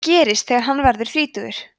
það gerist þegar hann verður þrítugur